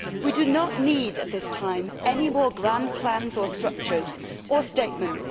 We do not need at this time any more grand plans or structures or statements.